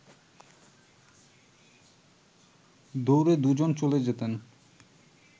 দৌড়ে দু’জন চলে যেতেন